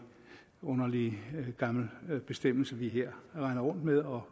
underlig gammel bestemmelse vi her render rundt med og